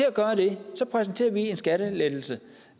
at gøre det præsenterer vi en skattelettelse